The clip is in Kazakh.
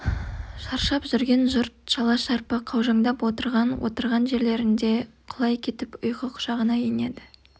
шаршап жүрген жұрт шала-шарпы қаужаңдап отырған-отырған жерлерінде құлай кетіп ұйқы құшағына енеді